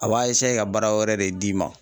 A b'a ka baara wɛrɛ de d'i ma.